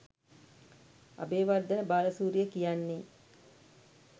අබේවර්ධන බාලසූරිය කියන්නෙ